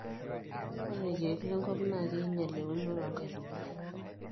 ore irkeek lenkop naa keingial euonore oo nkaitubulu